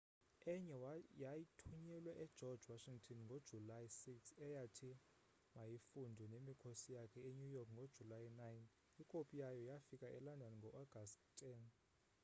enye yathunyelwa egeorge washington ngojulayi 6 eyathi mayifundwe nemikhosi yakhe enew york ngojulayi 9 ikopi yayo yafika elondon ngoagasti 10